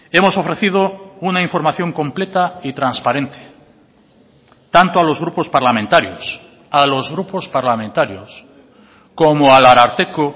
hemos ofrecido una información completa y transparente tanto a los grupos parlamentarios a los grupos parlamentarios como al ararteko